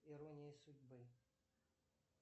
ирония судьбы